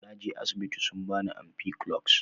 Naje asibiti sun bani ampiclox.